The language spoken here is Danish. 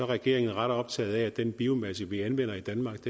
regeringen er ret optaget af at den biomasse vi anvender i danmark